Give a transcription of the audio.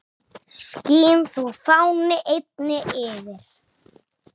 Skín þú, fáni, eynni yfir